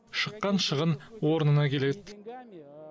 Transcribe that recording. шыққан шығын орнына келеді